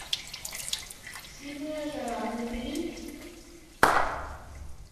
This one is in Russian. сильная жара набери